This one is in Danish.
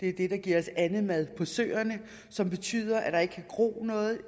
er det der giver os andemad på søerne som betyder at der ikke kan gro noget